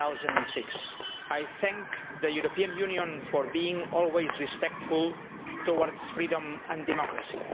2006. I thank the European Union for being always respectful towards freedom and democracy.